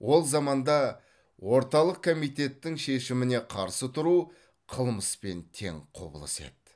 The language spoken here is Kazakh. ол заманда орталық комитеттің шешіміне қарсы тұру қылмыспен тең құбылыс еді